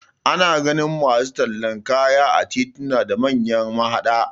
Ana ganin masu tallan kaya a tituna da manyan mahaɗa